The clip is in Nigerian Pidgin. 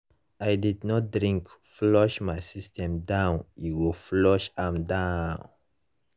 i don't drink flush my system down e go flush am down.